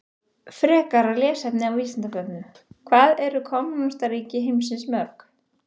Frekara lesefni á Vísindavefnum: Hvað eru kommúnistaríki heimsins mörg?